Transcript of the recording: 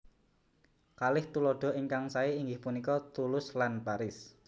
Kalih tuladha ingkang saé inggih punika Toulouse lan Paris